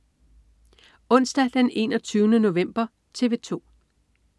Onsdag den 21. november - TV 2: